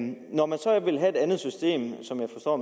når man så vil have et andet system som jeg forstår